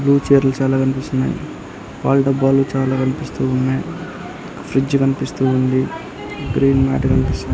Blue chair లు చాలా కనిపిస్తున్నాయి. పాల డబ్బాలు చాలా కనిపిస్తూ ఉన్నాయి. ఫ్రిడ్జ్ కనిపిస్తూ ఉంది. గ్రీన్ మ్యాట్ కనిపిస్తుంది.